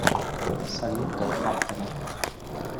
салют тэд фактори